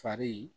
Fari